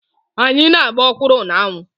Anyị na-agba ọkwụrụ na-anwụ.